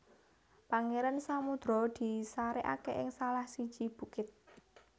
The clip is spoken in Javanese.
Pangeran Samudro di sarekake ing salah siji bukit